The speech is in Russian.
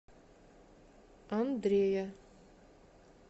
андрея